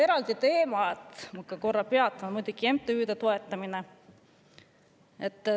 " Eraldi teema, millel korra peatun, on MTÜ-de toetamine.